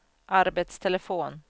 arbetstelefon